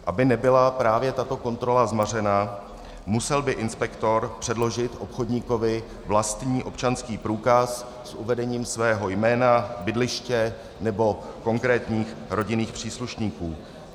Aby nebyla právě tato kontrola zmařena, musel by inspektor předložit obchodníkovi vlastní občanský průkaz s uvedením svého jména, bydliště nebo konkrétních rodinných příslušníků.